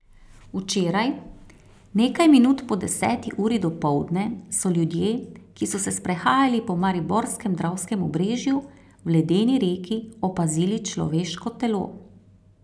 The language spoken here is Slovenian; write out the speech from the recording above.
Včeraj, nekaj minut po deseti uri dopoldne, so ljudje, ki so se sprehajali po mariborskem dravskem obrežju, v ledeni reki opazili človeško telo.